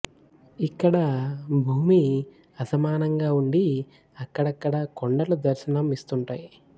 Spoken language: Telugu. ఇక్కడ భూమి అసమానంగా ఉండి అక్కడక్కడా కొండలు దర్శనం ఇస్తుంటాయి